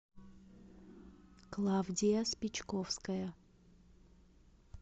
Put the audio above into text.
клавдия спичковская